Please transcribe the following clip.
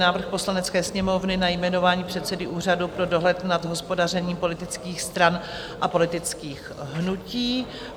Návrh Poslanecké sněmovny na jmenování předsedy Úřadu pro dohled nad hospodařením politických stran a politických hnutí